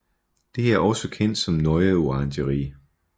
Det er også kendt som Neue Orangerie